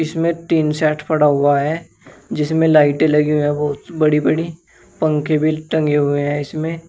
इसमें tin shed पड़ा हुआ है जिसमें लाइटें लगी हुई हैं बहुत बड़ी बड़ी। पंखे भी टंगे हुए हैं इसमें।